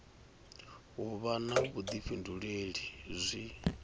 u vha na vhuḓifhinduleli zwi